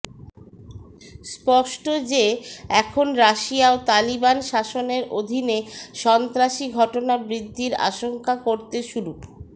স্পষ্ট যে এখন রাশিয়াও তালিবান শাসনের অধীনে সন্ত্রাসী ঘটনা বৃদ্ধির আশঙ্কা করতে শুরু